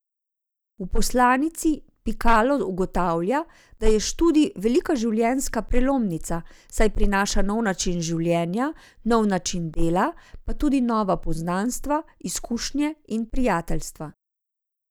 V poslanici Pikalo ugotavlja, da je študij velika življenjska prelomnica, saj prinaša nov način življenja, nov način dela, pa tudi nova poznanstva, izkušnje in prijateljstva.